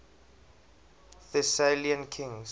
thessalian kings